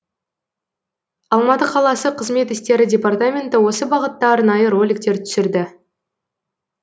алматы қаласы қызмет істері департаменті осы бағытта арнайы роликтер түсірді